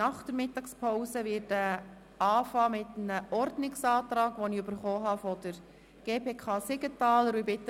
Nach der Mittagspause werde ich mit einem Ordnungsantrag beginnen, den ich seitens der GPK, von Grossrat Siegenthaler, erhalten habe.